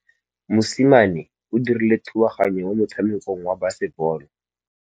Mosimane o dirile thubaganyô mo motshamekong wa basebôlô.